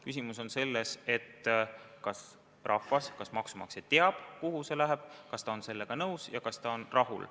Küsimus on selles, kas rahvas, maksumaksja teab, kuhu see raha läheb, kas ta on sellega nõus, kuhu läheb, kas ta on rahul.